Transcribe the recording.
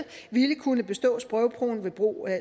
ville kunne bestå sprogprøven ved brug af